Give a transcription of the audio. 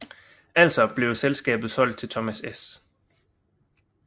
Altså blev selskabet solgt til Thomas S